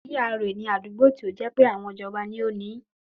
GRA ni àdúgbò tí ó jẹ́ pé àwọn ìjọba ni ó ni ín